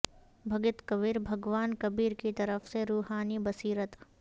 بھگت کبیر بھگوان کبیر کی طرف سے روحانی بصیرت